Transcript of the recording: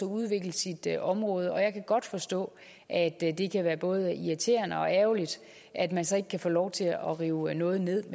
at udvikle sit område og jeg kan godt forstå at det kan være både irriterende og ærgerligt at man så ikke kan få lov til at rive noget nederst